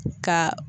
Ka